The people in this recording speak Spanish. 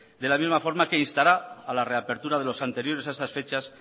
de la misma forma que distará a la reapertura de los anteriores a esas fechas